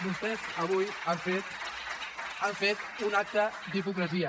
vostès avui han fet un acte d’hipocresia